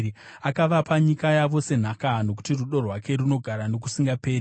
akavapa nyika yavo senhaka, Nokuti rudo rwake runogara nokusingaperi.